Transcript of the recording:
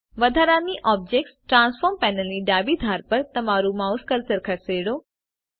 વધારાની object transform પેનલની ડાબી ધાર પર તમારું માઉસ કર્સર ખસેડો